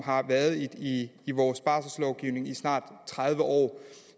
har været i i vores barselslovgivning i snart tredive år